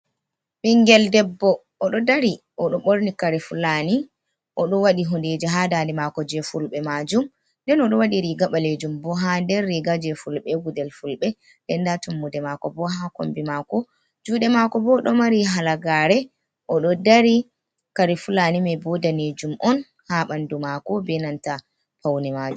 Ɓingel debbo oɗo dari oɗo ɓorni kare fullani oɗo waɗi hundeji ha dade mako je fulɓe majum den oɗo waɗi riga ɓalejum bo ha nder riga je fulbe, gudel fulbe, den nda tummude mako bo ha kombi mako juɗe mako bo ɗo mari halagare oɗo dari Kare fullani me bo danejum on ha ɓandu mako be nanta paune majum.